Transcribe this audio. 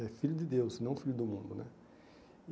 É filho de Deus, não filho do mundo, né?